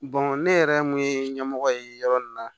ne yɛrɛ mun ye ɲɛmɔgɔ ye yɔrɔ min na